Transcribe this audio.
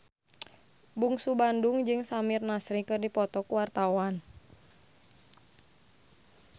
Bungsu Bandung jeung Samir Nasri keur dipoto ku wartawan